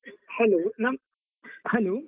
Hello ನಮ್, hello .